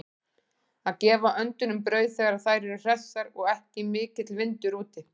Að gefa öndunum brauð þegar þær eru hressar og ekki mikill vindur úti.